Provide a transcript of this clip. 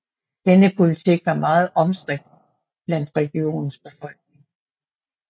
Denne politik var meget omstridt blandt regionens befolkning